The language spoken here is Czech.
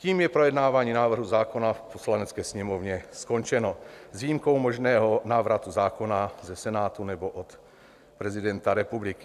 Tím je projednávání návrhu zákona v Poslanecké sněmovně skončeno, s výjimkou možného návratu zákona ze Senátu nebo od prezidenta republiky.